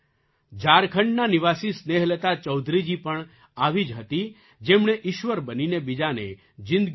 ઝારખંડનાં નિવાસી સ્નેહલતા ચૌધરીજી પણ આવી જ હતી જેમણે ઈશ્વર બનીને બીજાને જિંદગી આપી